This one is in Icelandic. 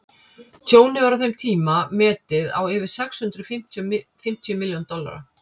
tjónið var á þeim tíma metið á yfir sex hundruð fimmtíu milljón dollara